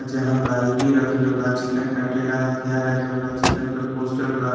जहां बाल्टी रखले बा चिकन काटे ला हथियार रखले बा चिकन के पोस्टर बा।